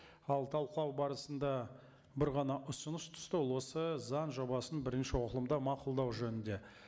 ал талқылау барысында бір ғана ұсыныс түсті ол осы заң жобасын бірінші оқылымда мақұлдау жөнінде